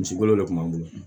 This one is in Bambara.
Misikolo de kun b'an bolo